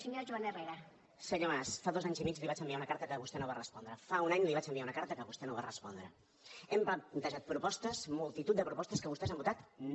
senyor mas fa dos anys i mig li vaig enviar una carta que vostè no va respondre fa un any li vaig enviar una carta que vostè no va respondre hem plantejat propostes multitud de propostes a què vostès han votat no